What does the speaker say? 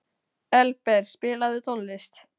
Elberg, spilaðu tónlist.